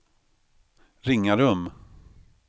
Ringarum